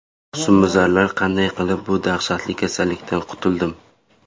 Husnbuzarlar qanday qilib bu dahshatli kasallikdan qutuldim?.